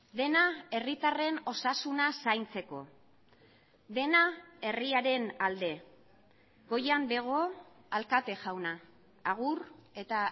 dena herritarren osasuna zaintzeko dena herriaren alde goian bego alkate jauna agur eta